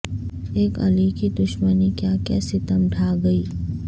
اک علی کی دشمنی کیا کیا ستم ڈھا گئی